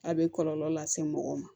A bɛ kɔlɔlɔ lase mɔgɔw ma